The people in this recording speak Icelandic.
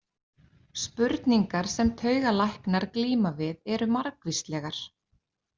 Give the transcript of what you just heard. Spurningar sem taugalæknar glíma við eru margvíslegar.